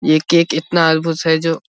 ये केक इतना अद्भुत है जो --